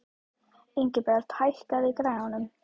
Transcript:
Ingibert, hækkaðu í græjunum.